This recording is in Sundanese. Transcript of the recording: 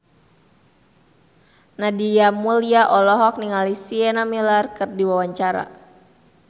Nadia Mulya olohok ningali Sienna Miller keur diwawancara